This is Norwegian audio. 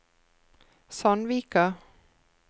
Sandvika